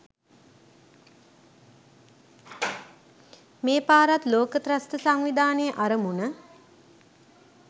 මේ පාරත් ලෝක ත්‍රස්ත සංවිධානයේ අරමුණ.